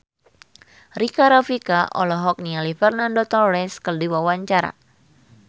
Rika Rafika olohok ningali Fernando Torres keur diwawancara